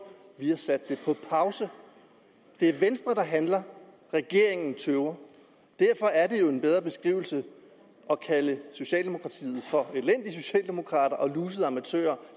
de har sat det på pause det er venstre der handler regeringen tøver derfor er det jo en bedre beskrivelse at kalde socialdemokratiet for elendige socialdemokrater og lusede amatører